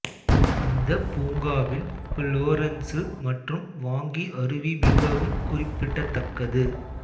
இந்த பூங்காவில் புலொரென்சு மற்றும் வாங்கி அருவி மிகவும் குறிப்பிடத்தக்கது